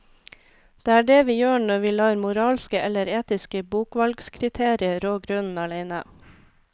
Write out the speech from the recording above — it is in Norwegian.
Det er det vi gjør når vi lar moralske eller etiske bokvalgskriterier rå grunnen aleine.